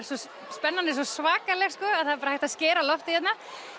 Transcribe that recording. spennan er svo svakaleg að það er bara hægt að skera loftið hérna